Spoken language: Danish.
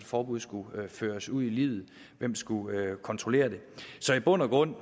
forbud skulle føres ud i livet hvem skulle kontrollere det så i bund og grund